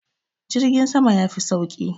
jirgin sama ya Fi sauki